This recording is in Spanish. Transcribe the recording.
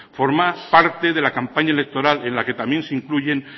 formar parte de la campaña electoral en la que también se incluyen